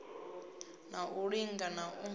na u linga na u